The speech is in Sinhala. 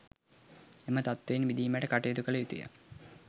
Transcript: එම තත්ත්වයෙන් මිදීමට කටයුතු කළ යුතු ය.